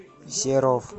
серов